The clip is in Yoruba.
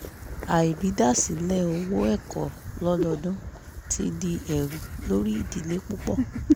àrídasilẹ owó ẹ̀kọ́ lododun ti di ẹrù lórí ìdílé púpọ̀